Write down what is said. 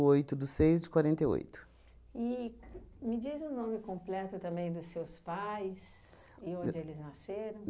oito do seis de quarenta e oito. E me diz o nome completo também dos seus pais e onde eles nasceram.